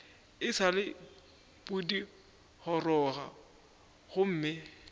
e sa le pudigoroga gomme